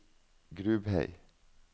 Grubhei